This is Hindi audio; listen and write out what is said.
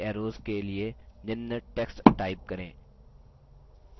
अब अन्य सभी arrows के लिए निम्न text type करें